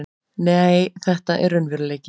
Nei, þetta er raunveruleiki.